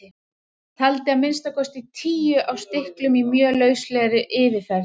Taldi að minnsta kosti tíu á stilkum í mjög lauslegri yfirferð.